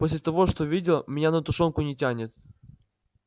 после того что видел меня на тушёнку не тянет